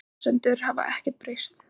Þær forsendur hafa ekkert breyst